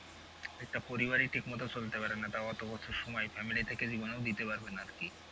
একটা পরিবারই ঠিক মতো চলতে পারে না তাও অত বছর সময় family থেকে জীবনেও দিতে পারবে না আর কি।